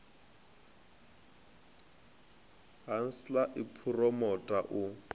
ha nlsa i phuromotha u